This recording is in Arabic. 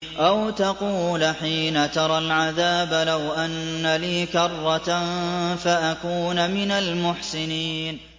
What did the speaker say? أَوْ تَقُولَ حِينَ تَرَى الْعَذَابَ لَوْ أَنَّ لِي كَرَّةً فَأَكُونَ مِنَ الْمُحْسِنِينَ